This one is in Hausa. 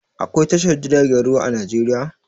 Aƙwai tashar jiragen ruwa a Najeriya?